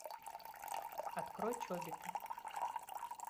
открой чобиты